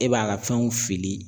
E b'a ka fɛnw fili